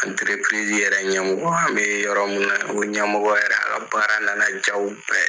yɛrɛ ɲɛmɔgɔ , an bɛ yɔrɔ min na ,o ɲɛmɔgɔ yɛrɛ ,a ka baara nana ja la ye bɛɛ!